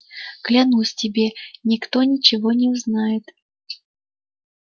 клянусь тебе никто ничего не узнает